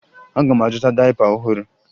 Aga m azụta dayịpa ọhụrụ